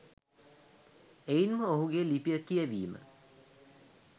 එයින් ම ඔහුගේ ලිපිය කියැවීම